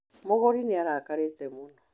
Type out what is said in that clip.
Mũgũri nĩ arakarĩte mũno.